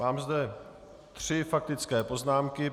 Mám zde tři faktické poznámky.